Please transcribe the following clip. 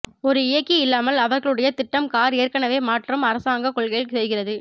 ஒரு இயக்கி இல்லாமல் அவர்களுடைய திட்டம் கார் ஏற்கனவே மாற்றம் அரசாங்கக் கொள்கையில் செய்கிறது